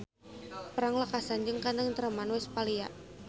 Perang lekasan jeung Katengtreman Westphalia.